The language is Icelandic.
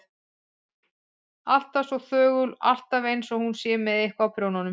Alltaf svo þögul og alltaf einsog hún sé með eitthvað á prjónunum.